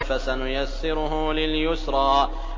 فَسَنُيَسِّرُهُ لِلْيُسْرَىٰ